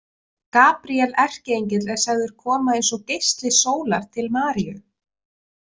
Gabríel erkiengill er sagður koma eins og geisli sólar til Maríu